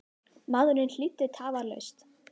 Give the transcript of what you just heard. Maðurinn hlýddi tafarlaust.